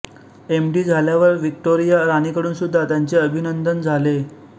M D झाल्यावर Victoria राणीकडूनसुद्धा त्यांचे अभिनंदन झाले